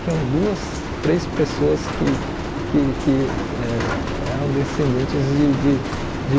Tinha duas, três pessoas que que que eh eram descendentes de de de